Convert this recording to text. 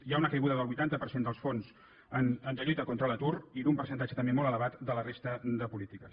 hi ha una caiguda del vuitanta per cent dels fons de lluita contra l’atur i d’un percentatge també molt elevat de la resta de polítiques